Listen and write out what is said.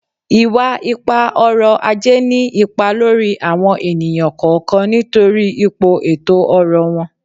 Iwa-ipa-ọrọ-aje ni ipa lori awọn eniyan kọọkan nitori ipo eto-ọrọ wọn